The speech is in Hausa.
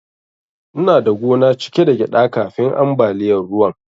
Ina da gona cike da gyaɗa kafin ambaliyar ruwan.